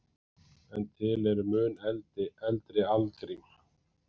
En til eru mun eldri algrím.